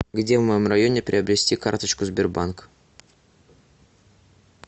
где в моем районе приобрести карточку сбербанк